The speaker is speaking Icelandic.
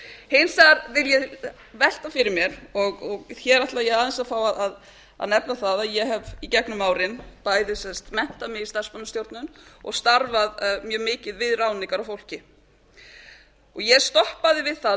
hins vegar vil ég velta fyrir mér og hér ætla ég aðeins að fá að nefna það að ég hef í gegnum árin bæði menntað mig í starfsmannastjórnun og starfað mjög mikið við ráðningar á fólki ég stoppaði við það